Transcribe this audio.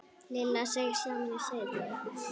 Lilla seig saman í sætinu.